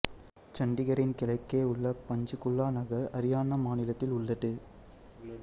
சண்டிகரின் கிழக்கே உள்ள பஞ்ச்குலா நகர் அரியானா மாநிலத்தில் உள்ளது